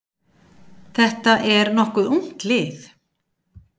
Þetta er nokkuð ungt lið.